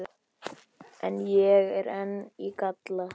En ég er enn í galla